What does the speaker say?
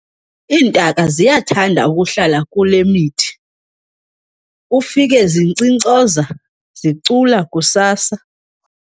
Iintaka ziyathanda ukuhlala kule mithi ufike zinkcinkcoza zicula kusasa.